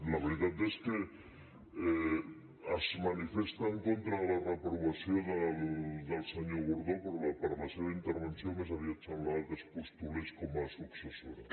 la veritat és que es manifesta en contra de la reprova·ció del senyor gordó però per la seva intervenció més aviat semblava que es postulés com a successora